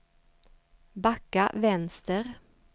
backa vänster